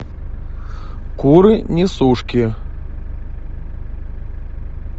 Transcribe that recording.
куры несушки